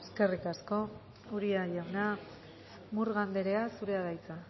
eskerrik asko uria jauna murga anderea zurea da hitza